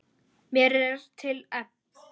Mér er til efs.